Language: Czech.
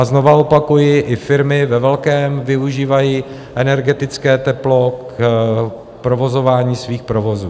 A znovu opakuji, i firmy ve velkém využívají energetické teplo k provozování svých provozů.